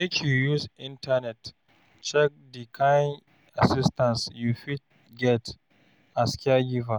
Make you use internet check di kain assistance you fit get as caregiver.